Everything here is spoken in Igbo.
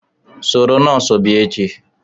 Soro nọọsụ bia echi